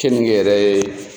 Kenige yɛrɛ ye